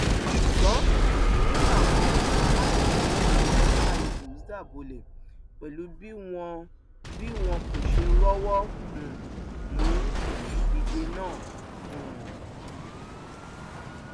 ṣùgbọn ìbínú làwọn alátìlẹyìn super eagles dà bolẹ pẹlú bí wọn bí wọn kò ṣe rọwọ um mú nínú ìdíje náà um